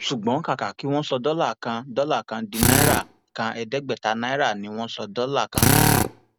ṣùgbọn kàkà kí wọn sọ dọlà kan dọlà kan di náírà kan ẹẹdẹgbẹta náírà ni wọn sọ dọlà kan dà